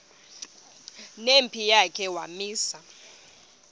nempi yakhe wamisa